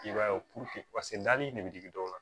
I b'a ye dali in ne bɛ digi dɔw la